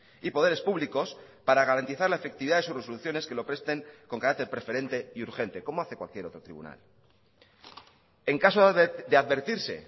y poderes públicos para garantizar la efectividad de sus resoluciones que lo presten con carácter preferente y urgente como hace cualquier otro tribunal en caso de advertirse